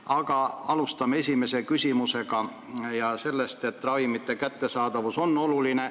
Aga alustame sellest, et ravimite kättesaadavus on oluline.